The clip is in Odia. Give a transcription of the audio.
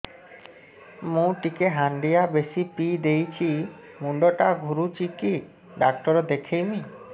ମୁଇ ଟିକେ ହାଣ୍ଡିଆ ବେଶି ପିଇ ଦେଇଛି ମୁଣ୍ଡ ଟା ଘୁରୁଚି କି ଡାକ୍ତର ଦେଖେଇମି